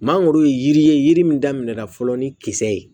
Mangoro ye yiri ye yiri min daminɛna fɔlɔ ni kisɛ ye